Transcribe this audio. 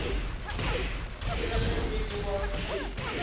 le ge e le wa